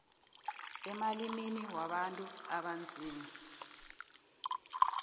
emalimini wabantu abanzima